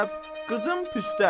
Qızım Püstə.